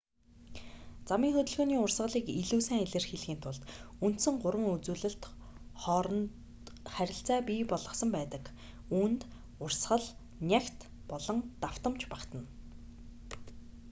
замын хөдөлгөөний урсгалыг илүү сайн илэрхийлэхийн тулд үндсэн гурван үзүүлэлт хооронд харилцаа бий болгосон байдаг үүнд: 1 урсгал 2 нягт болон 3 давтамж багтана